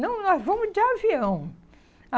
Não, nós vamos de avião.